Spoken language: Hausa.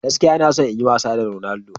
Gaskiya! Ina so in yi wasa da Ronaldo.